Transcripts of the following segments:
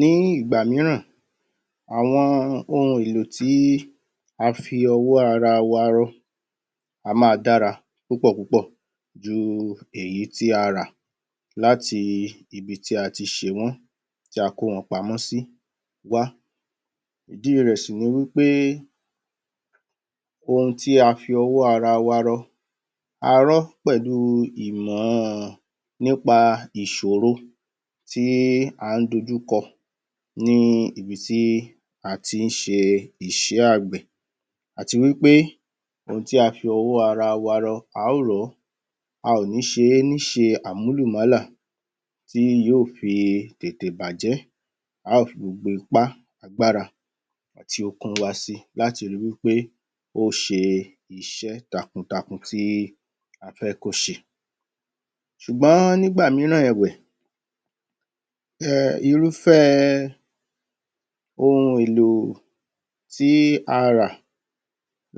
Ní ìgbà mìíràn àwọn ohun èlò tí a fi owọ́ ara wa rọ a máa dára púpọ̀ ju èyí tí a rà láti ibi tí a ti ṣe wọ́n tí a kò wọn pamọ́ sí wá ìdí rẹ̀ sì ni pé ohun tí a fi ọwọ́ ara wa rọ a rọọ́ pẹ̀lú ìmọ̀ nípa ìṣòro tí à ń dójú kọ kọ ní ibi tí a ti ń ṣe iṣẹ́ àgbẹ̀ àti wí pé ohun tí a fi ọwọ́ ara wa rọ a ó rọ̀ ọ́, a ò ní ṣe é ní ìṣe Àmúlùmọ́là tí tí yóò fi tètè bàjẹ́ a ó fi ipá, agbára àti okun wa ṣe é láti rí i pé ó ṣe iṣẹ́ takun takun tí a fẹ́ kó ṣe. Ṣùgbọ́n nígbà mìíràn ẹ̀wẹ̀, irúfẹ́ ohun èlò tí a rà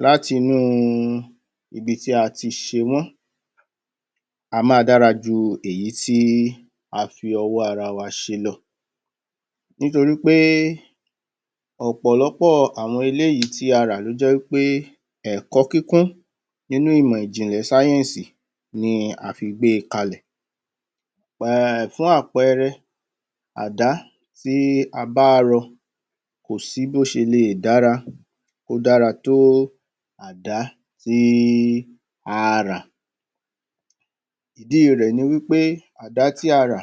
láti ibi tí a ti ṣe wọ́n a máa dára ju èyí tí a fi ọwọ́ ara wa se lọ nítorí pé ọ̀pọ̀lọpọ̀ àwọn eléyìí tí a rà tó jẹ́ wí pé ẹ̀kọ́ kíkún nínú ìmọ̀ ìjìnlẹ̀ sáyẹ́ǹsì ni a fi gbé e kalẹ̀ fún àpẹẹrẹ, Àdá tí a bá rọ kò sí bó ṣe le dára kó dára dára tó Àdá tí a rà ìdí rẹ̀ ni pé Àdá tí a rà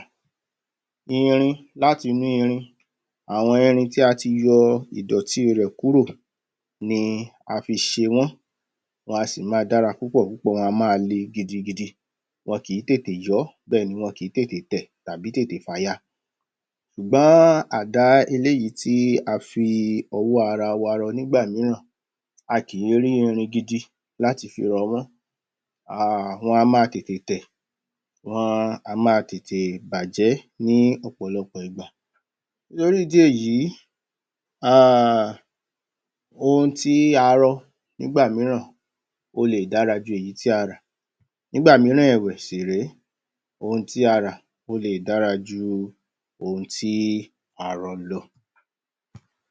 láti inú àwọn irin tí a ti yọ ìdọ̀tí rẹ kúrò ni a fi ṣe wọ́n, wọn a máa dára púpọ̀ púpọ̀, wọn a máa le gidi gidi, kìí tètè yọ́ bẹ́ẹ̀ ni kìí tètè yọ́, tàbí tètè fàya, ṣùgbọ́n Àdá eléyìí tí a fi ọwọ́ ara wa rọ nígbà mìíràn, a kìí rí irin gidi láti fi rọ a kìí rí irin gidi láti fi rọ wọ́n, wọn a máa tètè tẹ̀, wọn a máa tètè bàjẹ́ lọ́pọ̀ lọpọ̀ ìgbà nítorí ìdí èyí, ohun tí a rọ nígbà mìíràn, ó lè dára ju èyí tí a rà nígbà mìíràn ohun tí a rà lè dára ju ohun tí a rọ lọ